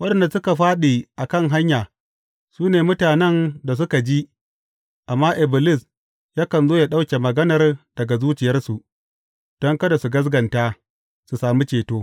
Waɗanda suka fāɗi a kan hanya su ne mutanen da suka ji, amma Iblis, yakan zo ya ɗauke maganar daga zuciyarsu, don kada su gaskata, su sami ceto.